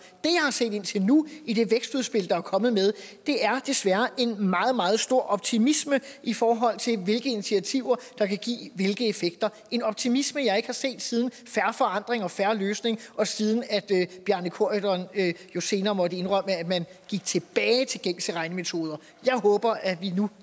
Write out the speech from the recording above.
set indtil nu i det vækstudspil der er kommet er desværre en meget meget stor optimisme i forhold til hvilke initiativer der kan give hvilke effekter en optimisme jeg ikke har set siden fair forandring og en fair løsning og siden bjarne corydon senere måtte indrømme at man gik tilbage til gængse regnemetoder jeg håber at vi nu